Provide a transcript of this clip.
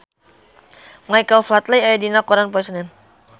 Michael Flatley aya dina koran poe Senen